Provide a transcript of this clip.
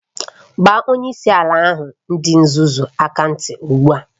Gbaa onyeisi ala ahụ dị nzuzu aka ntị ugbu a!